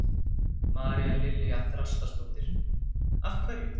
María Lilja Þrastardóttir: Af hverju?